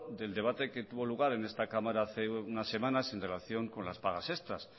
del debate que tuvo lugar en esta cámara hace unas semanas en relación con las pagas extras